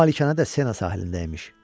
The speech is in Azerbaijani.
Bu malikanə də Sena sahilindəymiş.